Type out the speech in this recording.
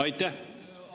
Aitäh!